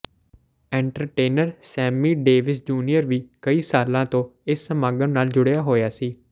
entertainer Sammy Davis junior ਵੀ ਕਈ ਸਾਲਾਂ ਤੋਂ ਇਸ ਸਮਾਗਮ ਨਾਲ ਜੁੜਿਆ ਹੋਇਆ ਸੀ